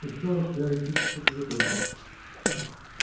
устал от теоретических выкладок